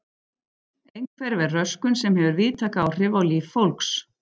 Einhverfa er röskun sem hefur víðtæk áhrif á líf fólks.